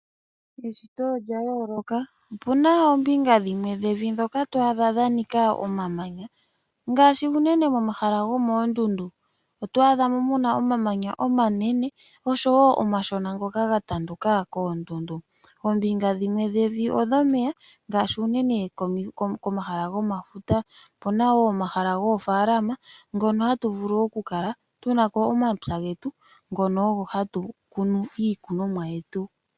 Eshito olya yooloka ,opuna oombinga dhimwe dhevi ndhoka to adha dhu udha omamanya ngaashi unene omahala gomoondundu . Oto adhamo muna omamanya omanene oshowo omashona ngoka ga tanduka koondundu. Oombinga dhimwe odhomeya ngaashi unene komahala gomafuta, opuna woo omahala goofalama hono hatu vulu okukala tunako omapya getu ngono ogo hatu kunu iikunomwa yetu .